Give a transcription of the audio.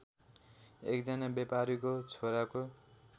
एकजना व्यापारीको छोराको